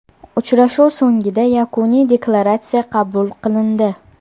Uchrashuv so‘ngida Yakuniy deklaratsiya qabul qilindi.